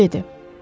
Taru dedi.